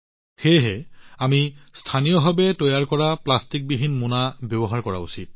সেয়েহে আমি স্থানীয়ভাৱে তৈয়াৰ কৰা প্লাষ্টিকবিহীন মোনা ব্যৱহাৰ কৰা উচিত